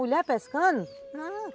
Mulher pescando? Não...